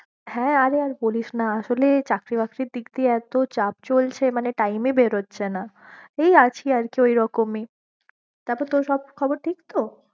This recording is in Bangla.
হ্যাঁ, আরে আর বলিস না আসোলে চাকরি বাকরীর দিক দিয়ে এতো চাপ চলছে মানে time ই বেরোচ্ছে না, এই আছি আর কি ঐরকম ই তারপর তোর সব খবর ঠিক তো?